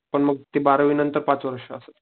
पण मग ते बारावी नंतर पाच वर्ष असं.